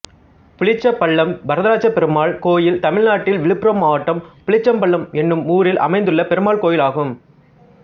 புளிச்சப்பள்ளம் வரதராஜபெருமாள் கோயில் தமிழ்நாட்டில் விழுப்புரம் மாவட்டம் புளிச்சப்பள்ளம் என்னும் ஊரில் அமைந்துள்ள பெருமாள் கோயிலாகும்